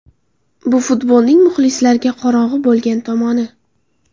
Bu futbolning muxlislarga qorong‘i bo‘lgan tomoni.